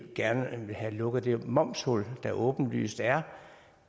gerne vil have lukket det momshul der åbenlyst er